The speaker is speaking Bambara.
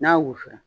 N'a wusu la